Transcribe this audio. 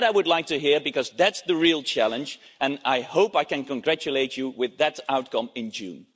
That I would like to hear because that's the real challenge and I hope I can congratulate you on that outcome in June.